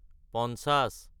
পঞ্চাশ